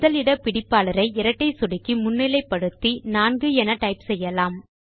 முதல் இட பிடிப்பாளரை இரட்டை சொடுக்கி முன்னிலை படுத்தி 4 என டைப் செய்யலாம்